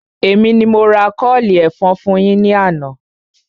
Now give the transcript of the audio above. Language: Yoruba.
Èmi ni mo ra kọ́ọ̀lì ẹ̀fọn fún yín ní àná